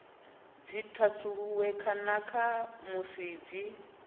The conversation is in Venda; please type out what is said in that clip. dzi thasululwe kana musi dzi